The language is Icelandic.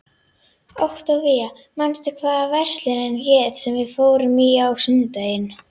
Októvía, manstu hvað verslunin hét sem við fórum í á sunnudaginn?